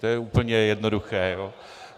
To je úplně jednoduché.